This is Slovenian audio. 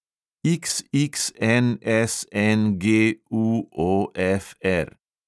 XXNSNGUOFR